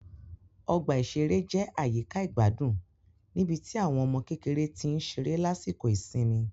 Ọgbà ìṣeré jẹ́ àyíká ìgbádùn níbi tí àwọn ọmọ kékeré tí ń ṣeré lásìkò ìsinmi